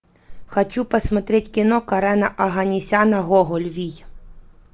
хочу посмотреть кино карена оганесяна гоголь вий